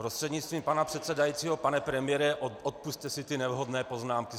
Prostřednictvím pana předsedajícího pane premiére, odpusťte si ty nevhodné poznámky.